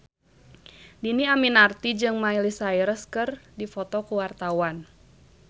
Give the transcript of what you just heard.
Dhini Aminarti jeung Miley Cyrus keur dipoto ku wartawan